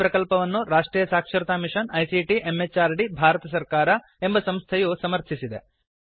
ಈ ಪ್ರಕಲ್ಪವನ್ನು ರಾಷ್ಟ್ರೀಯ ಸಾಕ್ಷರತಾ ಮಿಷನ್ ಐಸಿಟಿ ಎಂಎಚಆರ್ಡಿ ಭಾರತ ಸರ್ಕಾರ ಎಂಬ ಸಂಸ್ಥೆಯು ಸಮರ್ಥಿಸಿದೆ